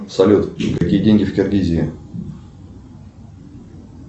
салют какие деньги в киргизии